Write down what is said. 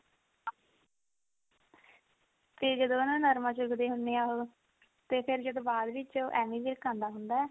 ਤੇ ਨਾ ਜਦੋਂ ਨਰਮਾ ਚੁਗਦੇ ਹੁਨੇ ਆ ਉਹ ਤੇ ਫਿਰ ਜਦੋਂ ਬਾਅਦ ਵਿੱਚ ਐਮੀ ਵਿਰਕ ਆਉਂਦਾ ਹੁੰਦਾ